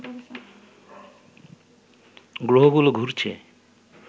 গ্রহগুলো ঘুরছে